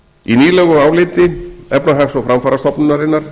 í nýlegu áliti efnahags og framfarastofnunarinnar